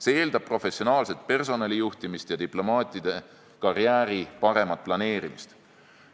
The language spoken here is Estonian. See eeldab professionaalset personalijuhtimist ja diplomaatide karjääri paremat planeerimist.